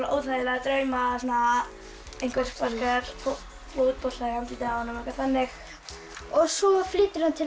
óþægilega drauma einhver sparkar fótbolta í andlitið á honum eitthvað þannig svo flytur hann til